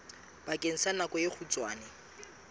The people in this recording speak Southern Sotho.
bakeng sa nako e kgutshwane